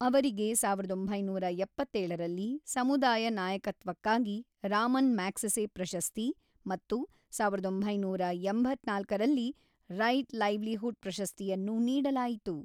ಅವರಿಗೆ ಸಾವಿರದ ಒಂಬೈನೂರ ಎಪ್ಪತ್ತೇಳರಲ್ಲಿ ಸಮುದಾಯ ನಾಯಕತ್ವಕ್ಕಾಗಿ ರಾಮನ್ ಮ್ಯಾಗ್ಸೆಸೆ ಪ್ರಶಸ್ತಿ ಮತ್ತು ಸಾವಿರದ ಒಂಬೈನೂರ ಎಂಬತ್ತ್ನಾಲ್ಕರಲ್ಲಿ ರೈಟ್‌ ಲೈವ್ಲಿಹುಡ್ ಪ್ರಶಸ್ತಿಯನ್ನು ನೀಡಲಾಯಿತು.